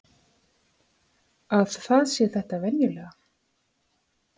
Að það sé þetta venjulega.